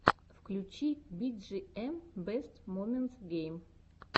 включи биджиэм бэст моментс гейм